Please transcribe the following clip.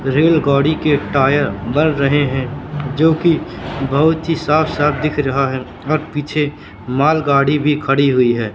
रेलगाड़ी के टायर बन रहे हैं जोकि बहोत ही साफ साफ दिख रहा है और पीछे मालगाड़ी भी खड़ी हुई है।